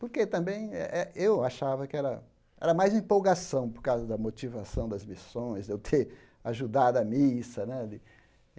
Porque também eh eh eu achava que era era mais empolgação por causa da motivação das missões, de eu ter ajudado a missa né.